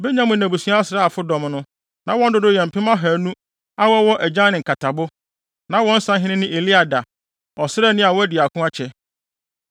Benyamin abusua asraafodɔm no, na wɔn dodow yɛ mpem ahannu (200,000) a wɔwɔ agyan ne nkatabo. Na wɔn sahene ne Eliada, ɔsraani a wadi ako akyɛ.